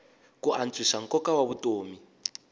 ku antswisa nkoka wa vutomi